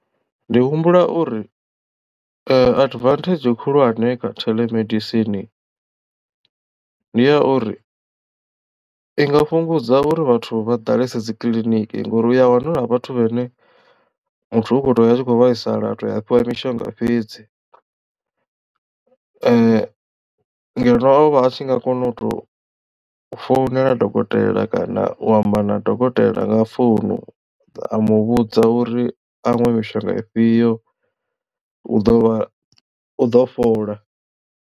Ndi humbula uri advantage khulwane kha theḽemedisini ndi ya uri i nga fhungudza uri vhathu vha ḓalese dzikiḽiniki ngori u a wana huna vhathu vhene muthu u khou tou ya a tshi khou vhaisala a to ya a fhiwa mishonga fhedzi ngeno ovha a tshi nga kona u tou founela dokotela kana u amba na dokotela nga founu a muvhudza uri a nwe mishonga ifhio u ḓo vha u ḓo fhola.